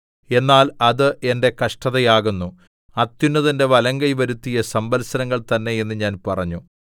എന്നാൽ അത് എന്റെ കഷ്ടതയാകുന്നു അത്യുന്നതന്റെ വലങ്കൈ വരുത്തിയ സംവത്സരങ്ങൾ തന്നെ എന്ന് ഞാൻ പറഞ്ഞു